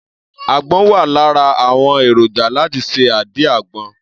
Àgbọn wà lára àwọn èròjà láti ṣe àdí àgbọn.